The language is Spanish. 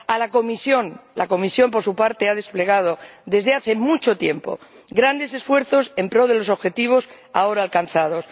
a la Comisión, que, por su parte, ha desplegado desde hace mucho tiempo grandes esfuerzos en pro de los objetivos ahora alcanzados.